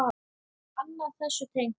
Annað þessu tengt.